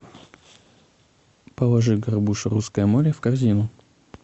положи горбуша русское море в корзину